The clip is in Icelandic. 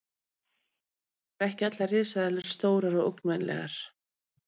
Vissulega voru ekki allar risaeðlur stórar og ógnvænlegar.